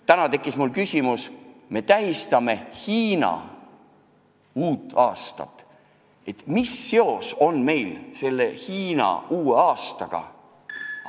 Täna tekkis mul selline küsimus: me tähistame Hiina uut aastat, aga mis seos on meil Hiina uue aastaga?